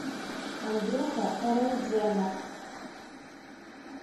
андрюха эрендженов